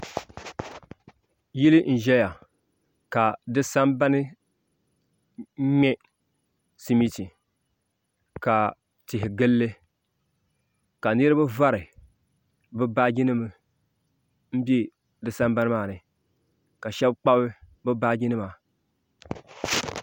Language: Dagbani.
Yili n ƶɛya ka di sambani ŋmɛ simiti ka tihi gilli ka niraba vari bi baaji nim bɛ di sambani maa ni ka shab kpabi bi baaji nima